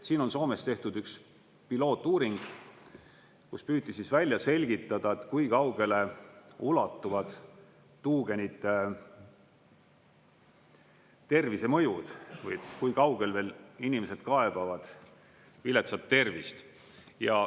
Siin on Soomes tehtud üks pilootuuring, kus püüti välja selgitada, kui kaugele ulatuvad tuugenite tervisemõjud või kui kaugel veel inimesed kaebavad viletsat tervist.